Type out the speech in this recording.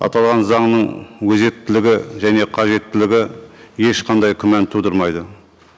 аталған заңның өзектілігі және қажеттілігі ешқандай күмән тудырмайды